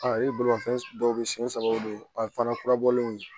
A yirimanfɛn dɔw bɛ siɲɛ saba o de ye a fana kurabɔlenw ye